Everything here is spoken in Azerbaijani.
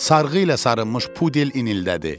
Sarğı ilə sarınmış pudel inildədi.